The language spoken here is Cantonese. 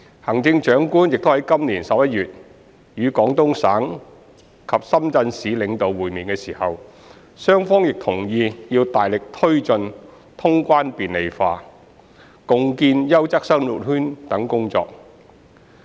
行政長官在今年11月與廣東省及深圳市領導會面時，雙方亦同意要大力推進通關便利化、共建優質生活圈等工作。